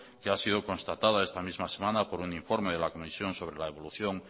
que ha sido constatada esta misma semana por un informe de la comisión sobre la evolución